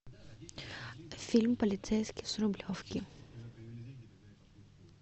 фильм полицейский с рублевки